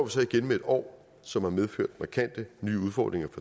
så igen med et år som har medført markante nye udfordringer